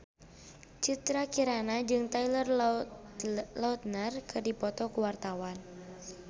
Citra Kirana jeung Taylor Lautner keur dipoto ku wartawan